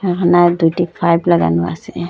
এখানে দুটি পাইপ লাগানো আসে।